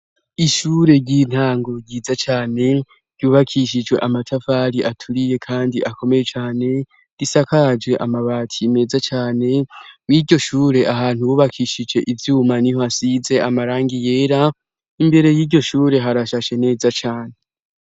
ishure ry'intango ryiza cane ryubakishijwe amatafari aturiye kandi akomeye cane risakaje amabati meza cane mw'iryoshure ahantu bubakishije ivyuma niho asize amarangi yera imbere y'iryoshure harashashe neza cane